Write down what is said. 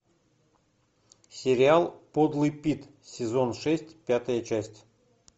сериал подлый пит сезон шесть пятая часть